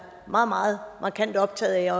meget meget markant optaget af